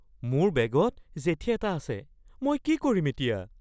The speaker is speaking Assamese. মোৰ বেগত জেঠী এটা আছে। মই কি কৰিম এতিয়া?